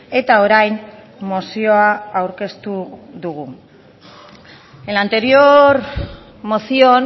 eta orain mozioa aurkeztu dugu en la anterior moción